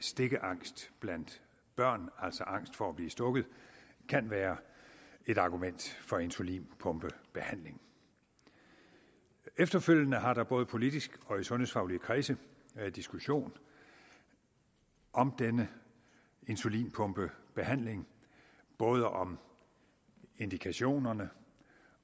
stikkeangst blandt børn altså angst for at blive stukket kan være et argument for insulinpumpebehandling efterfølgende har der både politisk og i sundhedsfaglige kredse været diskussion om denne insulinpumpebehandling både om indikationerne